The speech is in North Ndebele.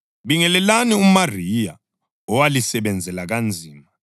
Bingelelani uMariya owalisebenzela kanzima.